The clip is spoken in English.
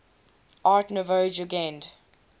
art nouveau jugend